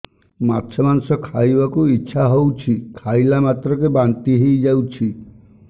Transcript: ମାଛ ମାଂସ ଖାଇ ବାକୁ ଇଚ୍ଛା ହଉଛି ଖାଇଲା ମାତ୍ରକେ ବାନ୍ତି ହେଇଯାଉଛି